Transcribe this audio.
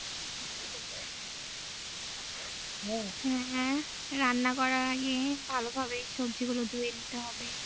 হ্যাঁ রান্না করার আগে ভালো সব্জি ভাবে ধুয়ে নিতে হবে